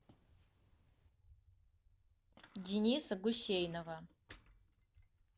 дениса гусейнова